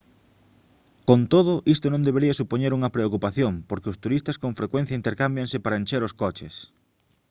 con todo isto non debería supoñer unha preocupación porque os turistas con frecuencia intercámbianse para encher os coches